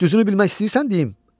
Düzünü bilmək istəyirsən deyim?